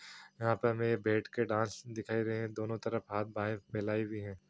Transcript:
यहाँ पे हमे बैठ कर डांस दिखाई दे रहे है दोनों तरफ हाथ बाहें फेलाई हुई है।